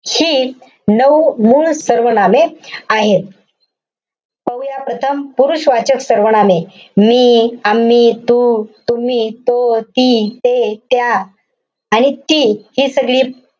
हि नऊ मूळ सर्वनामे आहेत. पाहूया प्रथम पुरुषवाचक सर्वनामे. मी, आम्ही, तू, तुम्ही, तो, ती, ते, त्या आणि ती हि सगळी,